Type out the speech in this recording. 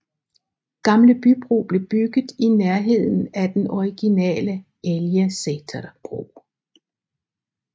Gamle Bybro blev bygget i nærheden af den originale Elgeseter bro